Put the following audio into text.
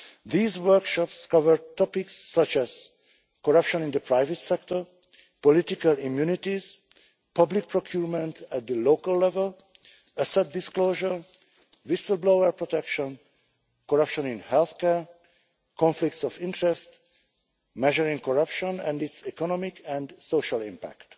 These workshops cover topics such as corruption in the private sector, political immunities, public procurement at local level, asset disclosure, whistle-blower protection, corruption in health care, conflicts of interest, and measuring corruption and its economic and social impact.